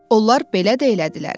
Onlar belə də elədilər.